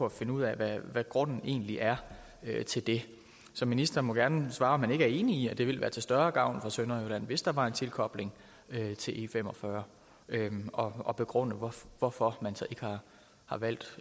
at finde ud af hvad grunden egentlig er til det så ministeren må gerne svare på om han ikke er enig i at det ville være til større gavn for sønderjylland hvis der var en tilkobling til e45 og begrunde hvorfor man har valgt